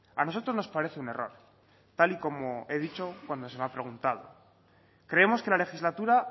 a nosotros nos parece un error tal y como he dicho cuando se me ha preguntado creemos que la legislatura